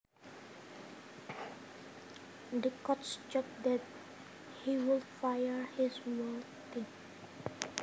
The coach joked that he would fire his whole team